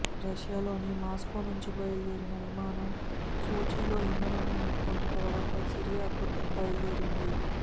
రష్యాలోని మాస్కోనుంచి బయలుదేరిన విమానం సోచీలో ఇంధనం నింపుకొన్న తర్వాత సిరియాకు బయలుదేరింది